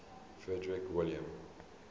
frederick william